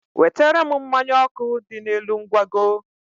wetere m mmanya ọkụ dị n'elu ngwago.